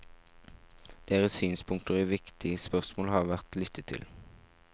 Deres synspunkter i viktige spørsmål har vært lyttet til.